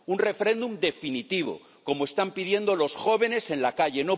Un referéndum definitivo como están pidiendo los jóvenes en la calle.